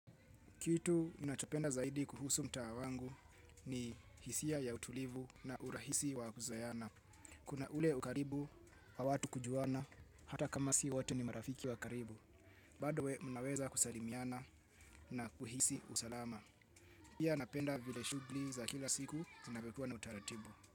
Kitu ninachopenda zaidi kuhusu mtaa wangu ni hisia ya utulivu na urahisi wa kuzoeana. Kuna ule ukaribu, wa watu kujuana, hata kama si wote ni marafiki wa karibu. Bado we mnaweza kusalimiana na kuhisi usalama. Pia napenda vile shughli za kila siku, zinavyokua na utaratibu.